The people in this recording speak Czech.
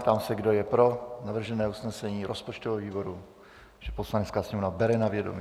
Ptám se, kdo je pro navržené usnesení rozpočtového výboru, že Poslanecká sněmovna bere na vědomí.